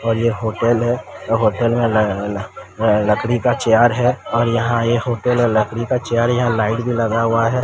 और ये होटल है होटल में लगाना लकड़ी का चेयर है और यहां ये होटल और लकड़ी का चेयर यहां लाइट भी लगा हुआ है।